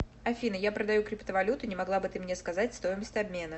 афина я продаю криптовалюту не могла бы ты мне сказать стоимость обмена